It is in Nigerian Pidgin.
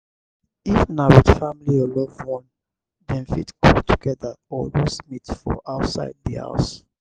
if na with family or loved one dem fit cook together or roast meat for outside di house